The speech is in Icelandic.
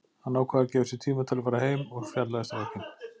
Hann ákvað að gefa sér tíma til að fara heim og spjalla við strákinn.